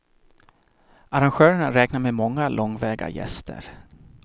Arrangörerna räknar med många långväga gäster.